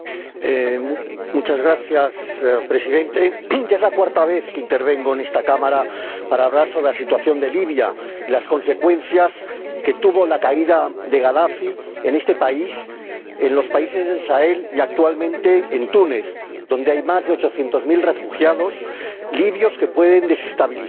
Señor Presidente, ya es la cuarta vez que intervengo en esta Cámara para hablar sobre la situación de Libia y las consecuencias que tuvo la caída de Gadafi en este país, en los países del Sahel y actualmente en Túnez, donde hay más de ochocientos mil refugiados libios que pueden desestabilizar su reciente democracia.